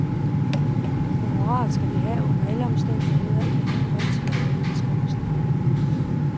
Honoraret skal de have under alle omstændigheder i henhold til overenskomsten.